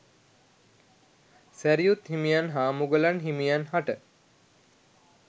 සැරියුත් හිමියන් හා මුගලන් හිමියන් හට